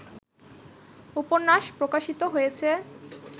উপন্যাস প্রকাশিত হয়েছে